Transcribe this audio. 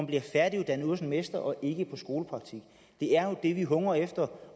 bliver færdiguddannet hos en mester og ikke i en skolepraktik det er jo det vi hungrer efter